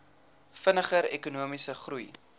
vinniger ekonomiese groei